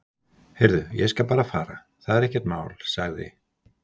Heyrðu, ég skal bara fara, það er ekkert mál- sagði